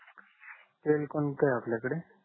तेल कोणत आहे आपल्याकडे